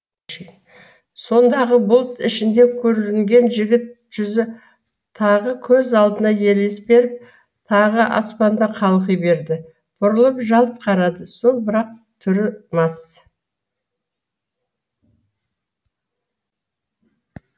сонадағы бұлт ішінде көрінген жігіт жүзі тағы көз алдына елес беріп тағы аспанда қалқи берді бұрылып жалт қарады сол бірақ түрі мас